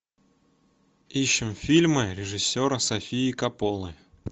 ищем фильмы режиссера софии копполы